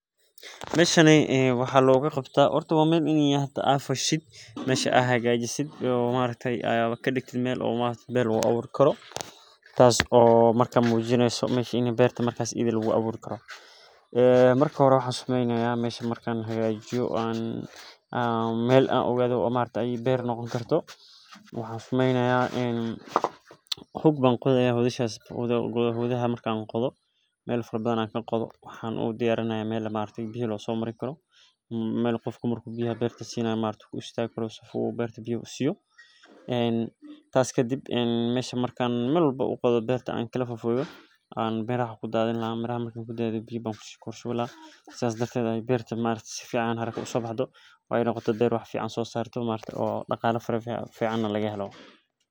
Waa inayna fasha, hagaajisaa, ka digto meel beer lagu abuuri karo. Marka ogaatid inay beer noqon karto, waan qudhi, waxaan diyaariyay meel biyo lasoo marin karo, meel qofka beerta biyaha siinayo ku istaago, miraha ku daadin lahaa, biyo ku shubi lahaa si beerta dhaqso u soo baxdo, beer wax fiican soo saarta iyo dakhli fiican.